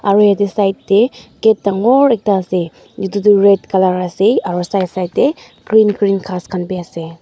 aro yatae side tae gate dangor ekta ase aro edu toh red colour ase aro side side tae green green ghas khan biase.